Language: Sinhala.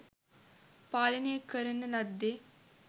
පාලනය කරන ලද්දේ